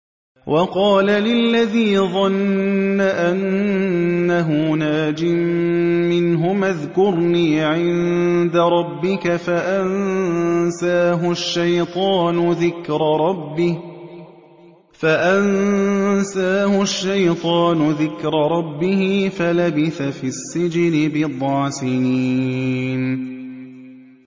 وَقَالَ لِلَّذِي ظَنَّ أَنَّهُ نَاجٍ مِّنْهُمَا اذْكُرْنِي عِندَ رَبِّكَ فَأَنسَاهُ الشَّيْطَانُ ذِكْرَ رَبِّهِ فَلَبِثَ فِي السِّجْنِ بِضْعَ سِنِينَ